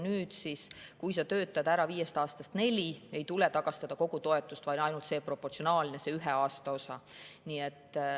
Nüüd on nii, et kui sa töötad ära viiest aastast neli, siis ei tule tagastada kogu toetust, vaid ainult proportsionaalselt see ühe aasta osa.